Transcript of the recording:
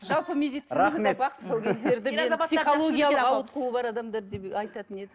жалпы медицинада рахмет психологиялық ауытқуы бар деп айтатын еді